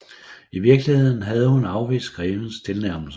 I virkeligheden havde hun afvist grevens tilnærmelser